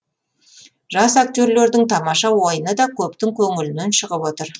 жас актерлердің тамаша ойыны да көптің көңілінен шығып отыр